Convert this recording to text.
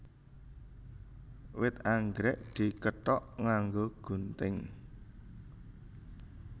Wit anggrèk dikethok nganggo gunting